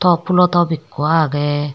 pop pulo top ikko agey.